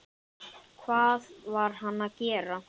Hvað var hann að gera?